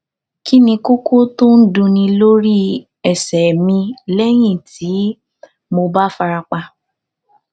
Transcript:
kí ni koko to n dunní lórí ẹsẹ mi lẹyìn tí mo bá fara pa